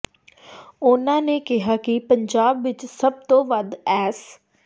ਉਨ੍ਹਾਂ ਨੇ ਕਿਹਾ ਕਿ ਪੰਜਾਬ ਵਿਚ ਸਭ ਤੋਂ ਵੱਧ ਐਸ